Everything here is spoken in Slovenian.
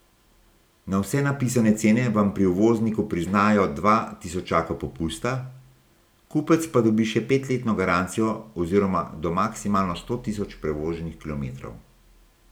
Na vse napisane cene vam pri uvozniku priznajo dva tisočaka popusta, kupec pa dobi še petletno garancijo oziroma do maksimalno sto tisoč prevoženih kilometrov.